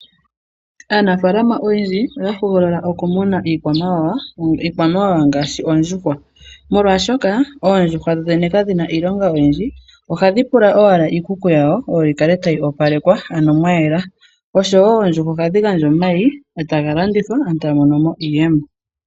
Aanafaalama oyendji oya hogolola okumuna iikwamawawa. Iikwamawawa ngaashi oondjuhwa oshoka oondjuhwa dhodhene kadhina iilonga oyindji, oha dhipula owala iikuku yawo oyo yi kale ta yi opalekwa opo mukale mwayela. Oondjuhwa oha dhi gandja omayi, eta ga landithwa, aantu eta yamonomo iiyemo.